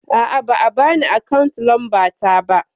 A'a ba a bani akawu lamba ta ba